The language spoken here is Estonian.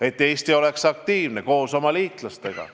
Eesti peab oma liitlastega aktiivselt koos tegutsema.